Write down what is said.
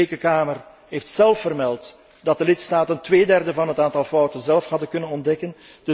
De Rekenkamer heeft zelf vermeld dat de lidstaten tweederde van het aantal fouten zelf hadden kunnen ontdekken.